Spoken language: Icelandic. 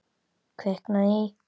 Kviknað í.